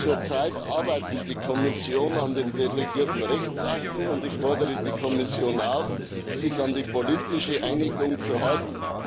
Zurzeit arbeitet die Kommission an den delegierten Rechtsakten, und ich fordere die Kommission auf, sich an die politische Einigung zu halten.